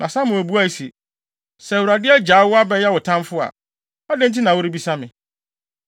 Na Samuel buae se, “Sɛ Awurade agyaw wo, abɛyɛ wo tamfo a, adɛn nti na worebisa me?